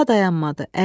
Daha dayanmadı.